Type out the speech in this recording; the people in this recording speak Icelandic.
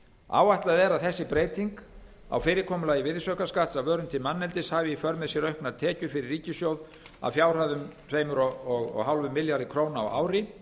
áætlað er að þessi breyting á fyrirkomulagi virðisaukaskatts af vörum til manneldis hafi för með sér auknar tekjur fyrir ríkissjóð að fjárhæð tvö komma fimm milljarðar króna á ári